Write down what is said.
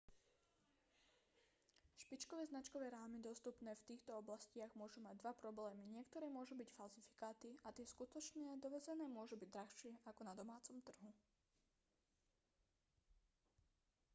špičkové značkové rámy dostupné v týchto oblastiach môžu mať dva problémy niektoré môžu byť falzifikáty a tie skutočné dovezené môžu byť drahšie ako na domácom trhu